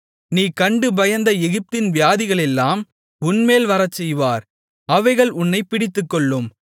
நீ கண்டு பயந்த எகிப்தின் வியாதிகளெல்லாம் உன்மேல் வரச்செய்வார் அவைகள் உன்னைப் பிடித்துக்கொள்ளும்